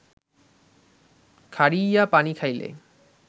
খাড়ইয়া পানি খাইলে